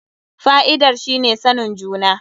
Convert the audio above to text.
Fa'idar shi ne sanin juna.